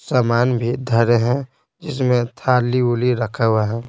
समान भी धरे हैं जिसमें थाली उली रखा हुआ है।